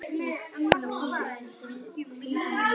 Hreinn söðlaði síðan um.